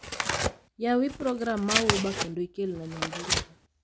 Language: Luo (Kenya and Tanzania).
Yawi program ma uber kendo ikelna nyamburko